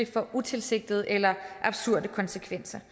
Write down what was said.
får utilsigtede eller absurde konsekvenser